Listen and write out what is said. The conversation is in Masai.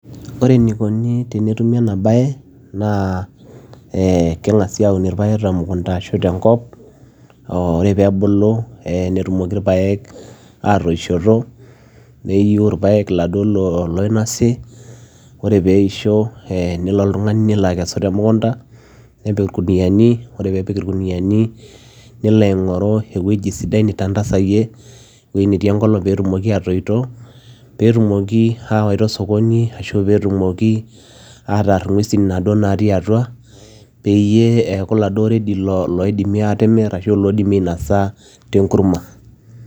Ore enikuni tenetumi enabaye naa ee keng'asi aun ilapek temukunda ashu tenkop ore peebulu netumoki ilpaek atoishoto neiu ilapek iladuo loinosi ore peisho nelo oltungani nelo akesu temukunda nepik ilkunuyiani ore peepiki ilkunuyiani nilo aing'oru ewueji sidai nitanfazayie ewueji netii engolong peetimoki atoito, peetumoki awaita osokoni ashu peetumoki atar ingwesi nado natii atwa peyie eaku iladuaredi peetimoki atimir ashu loidimi ainosa tenkurma